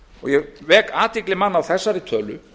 ég vek athygli manna á þessari tölu